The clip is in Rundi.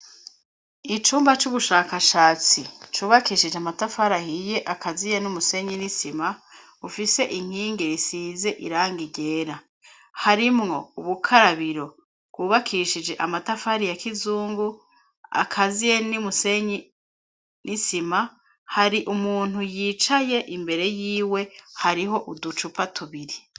Icumba c'ubushakashatsi cubakishije amatafari ahiye akaziye n'umusenyi n'isima ufise inkingi risize irangi ryera harimwo ubukarabiro rwubakishije amatafari ya kizungu akaziye n'umusenyi n'isima hari umuntu yicaye imbere yiwe hariho uducupa tubiri.